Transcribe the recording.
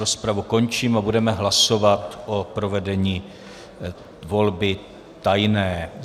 Rozpravu končím a budeme hlasovat o provedení volby tajné.